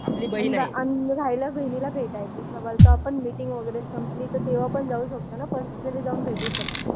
राहिला बहिणीला भेटायचं सवाल तर आपण मिटिंग वगैरे संपली तर तेंव्हा पण जाऊ शकतो ना पर्सनली जाऊन भेटू शकतो.